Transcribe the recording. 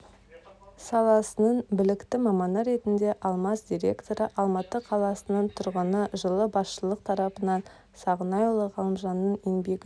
саласының білікті маманы ретінде алмаз директоры алматы қаласының тұрғыны жылы басшылық тарапынан сағынайұлы ғалымжанның еңбегі